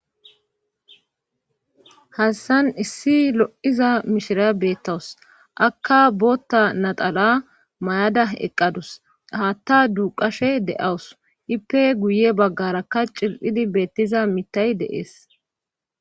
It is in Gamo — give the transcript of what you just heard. hassan issi lo7iza mishira beettawus akka bootta natala mayada eqqadus haatta duuqashe de7awus ipe guye baggarakka cil7idi beettiza mitay deees